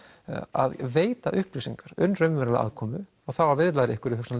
að veita upplýsingar um raunverulega aðkomu og þá að viðlaga einhverjum